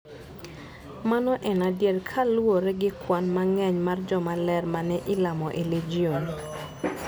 Mano en adier kaluwore gi kwan mang'eny mar joma ler ma ne ilamo e Legion.